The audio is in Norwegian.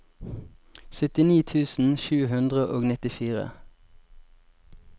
syttini tusen sju hundre og nittifire